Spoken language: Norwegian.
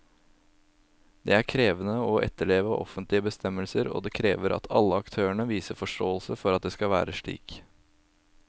Det er krevende å etterleve offentlige bestemmelser, og det krever at alle aktørene viser forståelse for at det skal være slik.